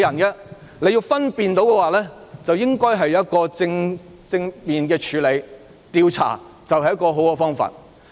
如果要分辨的話，便應正面處理，而調查便是最好的方法。